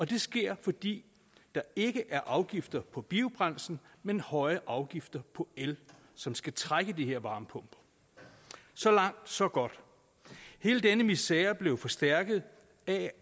det sker fordi der ikke er afgifter på biobrændsel men høje afgifter på el som skal trække de her varmepumper så langt så godt hele denne misere blev forstærket af